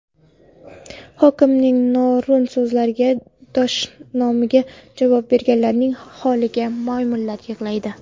Hokimning noo‘rin so‘zlariga, dashnomiga javob berganlarning holiga maymunlar yig‘laydi.